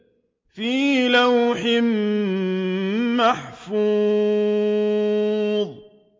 فِي لَوْحٍ مَّحْفُوظٍ